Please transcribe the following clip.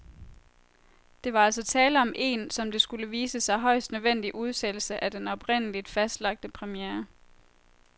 Der var altså tale om en, som det skulle vise sig, højst nødvendig udsættelse af den oprindeligt fastlagte premiere.